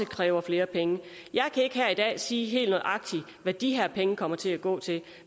kræver flere penge jeg kan ikke her i dag sige helt nøjagtigt hvad de her penge kommer til at gå til